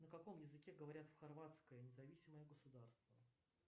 на каком языке говорят в хорватское независимое государство